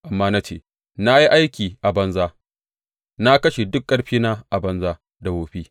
Amma na ce, Na yi aiki a banza; na kashe duk ƙarfina a banza da wofi.